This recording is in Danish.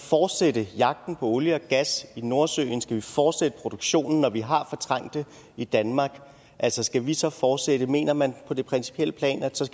så fortsætte jagten på olie og gas i nordsøen skal vi fortsætte produktionen når vi har fortrængt det i danmark altså skal vi så fortsætte mener man på det principielle plan